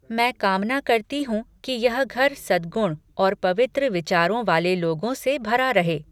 मैं कामना करती हूँ कि यह घर सद्गुण और पवित्र विचारों वाले लोगों से भरा रहे।